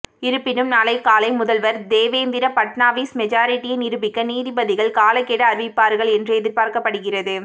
இருப்பினும் நாளை காலை முதல்வர் தேவேந்திர பட்நாவிஸ் மெஜாரிட்டியை நிரூபிக்க நீதிபதிகள் காலக்கெடு அறிவிப்பார்கள் என்று எதிர்பார்க்கப்படுகிறது